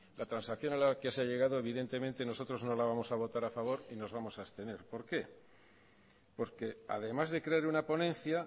la transacción a la que se ha llegado evidentemente nosotros no la vamos a votar a favor y nos vamos a abstener porque porque además de crear una ponencia